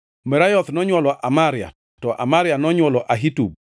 Merayoth nonywolo Amaria, to Amaria nonywolo Ahitub,